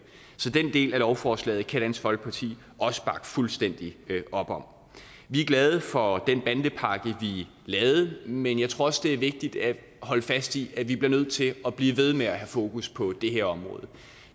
så den del af lovforslaget kan dansk folkeparti også bakke fuldstændig op om vi er glade for den bandepakke vi lavede men jeg tror også det er vigtigt at holde fast i at vi bliver nødt til at blive ved med at have fokus på det her område